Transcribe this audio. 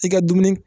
I ka dumuni